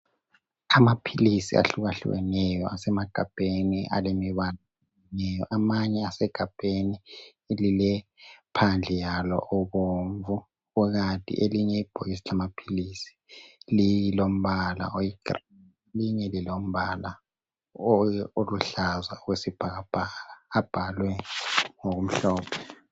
Amaphilisi ahlukahlukeyo. Asemagabheni alemibala eminengi, Amanye asegabheni alilephandle yalo obomvu. Kukanti elinye ibhokisi lamaphilisi lilombala oyigreen. Elinye lilombala oluhlaza okwesibhakabhaka. Abhalwe ngokumhlophe.